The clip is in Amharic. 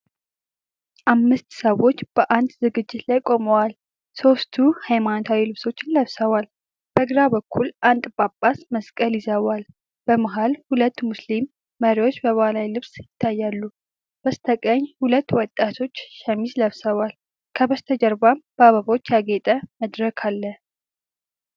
አምስት ሰዎች በአንድ ዝግጅት ላይ ቆመዋል፤ ሦስቱ ሃይማኖታዊ ልብሶችን ለብሰዋል። በግራ በኩል አንድ ጳጳስ መስቀል ይዘዋል፤ በመሃል ሁለት ሙስሊም መሪዎች በባህላዊ ልብስ ይታያሉ። በስተቀኝ ሁለት ወጣቶች ሸሚዝ ለብሰዋል፤ ከበስተጀርባም በአበቦች ያጌጠ መድረክ አለ።